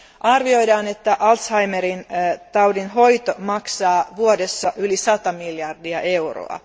Arvioidaan, että Alzheimerin taudin hoito maksaa vuodessa yli sata miljardia euroa.